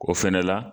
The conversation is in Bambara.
O fɛnɛ la